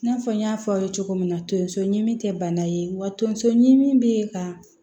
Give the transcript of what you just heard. I n'a fɔ n y'a fɔ aw ye cogo min na tonso ɲimi te bana ye wa tonso ɲimi be ka